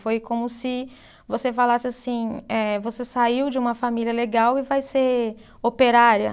Foi como se você falasse assim, eh você saiu de uma família legal e vai ser operária.